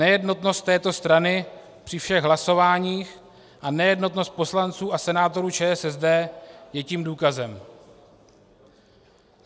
Nejednotnost této strany při všech hlasováních a nejednotnost poslanců a senátorů ČSSD je tím důkazem.